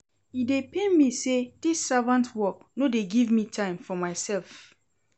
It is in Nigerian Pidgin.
E dey pain me sey dis servant work no dey give me time for mysef.